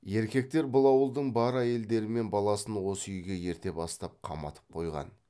еркектер бұл ауылдың бар әйелдері мен баласын осы үйге ерте бастан қаматып қойған